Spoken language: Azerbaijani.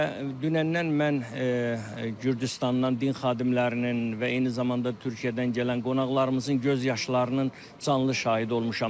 Və dünəndən mən Gürcüstandan din xadimlərinin və eyni zamanda Türkiyədən gələn qonaqlarımızın göz yaşlarının canlı şahidi olmuşam.